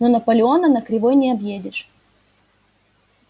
но наполеона на кривой не объедешь